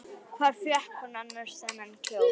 Hvar fékk hún annars þennan kjól?